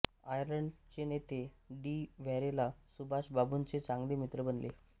Ireland चे नेते de Valera सुभाषबाबूंचे चांगले मित्र बनले